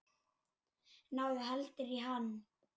Náðu heldur í hann.